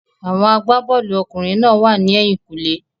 Àwọn agbá-bọ́ọ̀lù ọkùnrin náà wà ní ẹ̀yìn-kùlé.